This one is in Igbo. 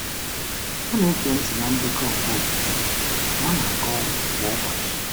Ọ na-ege ntị na ndekọ nke okwukwe ma ọ na-aga ọrụ kwa ụbọchị.